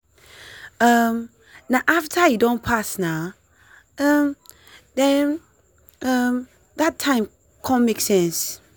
um na after e don pass nah um then um that time con make sense.